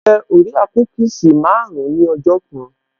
Mo jẹ orea kúkìsì marun-un ní ọjọ́ kan